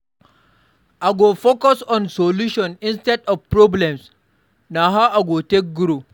I go focus on solutions instead of problems; na how I go take grow.